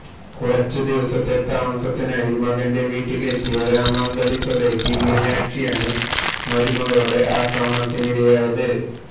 കുറച്ചു ദിവസത്തെ താമസിത്തിനായി മകന്റെ വീട്ടില് എത്തിയ രാമാന്തളി സ്വദേശി മീനാക്ഷിയാണ് മരുമകളുടെ ആക്രമണത്തിനിരയായത്